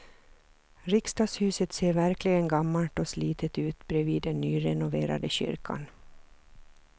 Riksdagshuset ser verkligen gammalt och slitet ut bredvid den nyrenoverade kyrkan.